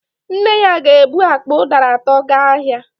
Nne ya ga-ebu akpa ụdara atọ gaa ahịa